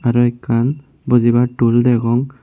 araw ekkan bujibar tul degong.